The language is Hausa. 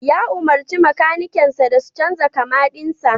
Ya umurci makanikansa da su canza kama dinsa.